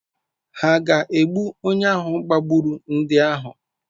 Hà ga-egbu onye ahụ gbagburu ndị ahụ?